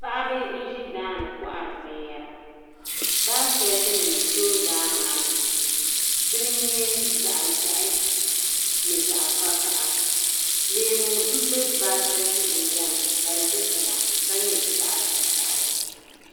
Paɣaba n zi daani kɔhiri bini yɛra baaiketi nima zooi daa maa ni dini nyɛ zaɣi ʒehi ni zaɣi vakaha leemu nbɛ baaiketi yinga ni ka di tiŋa ka nyɛ zaɣi vakahali.